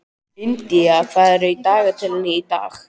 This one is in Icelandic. India, hvað er á dagatalinu í dag?